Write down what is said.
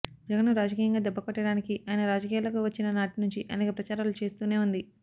జగన్ను రాజకీయంగా దెబ్బకొట్టడానికి ఆయన రాజకీయాల్లోకి వచ్చిన నాటి నుంచి అనేక ప్రచారాలు చేస్తూనే ఉంది